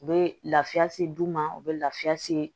U bɛ lafiya se d'u ma u be lafiya se